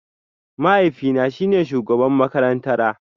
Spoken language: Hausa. Mahaifina shine shugaban makarantara